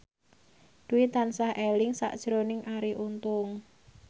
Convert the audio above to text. Dwi tansah eling sakjroning Arie Untung